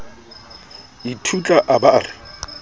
ithutla a ba a re